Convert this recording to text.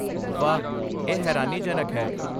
ਵਾਹ, ਇਹ ਹੈਰਾਨੀਜਨਕ ਹੈ।